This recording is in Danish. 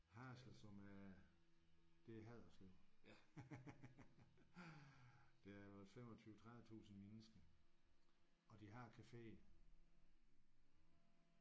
Haderslev som er det er Haderslev. Der er vel 25 30000 mennesker og de har café